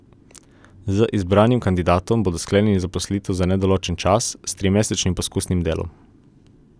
Z izbranim kandidatom bodo sklenili zaposlitev za nedoločen čas s trimesečnim poskusnim delom.